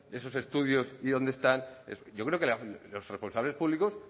esos estudios y dónde están yo creo que los responsables públicos